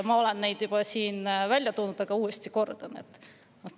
Ma olen neid siin juba välja toonud, aga kordan uuesti.